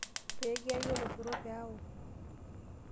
pee kiyaki oloshoro pee aok.